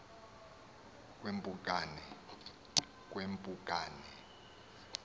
kwempukane